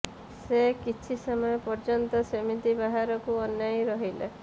ସେ କିଛି ସମୟ ପର୍ଯ୍ୟନ୍ତ ସେମିତି ବାହାରକୁ ଅନାଇ ରହିଲା